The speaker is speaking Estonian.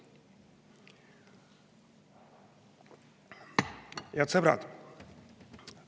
Head sõbrad!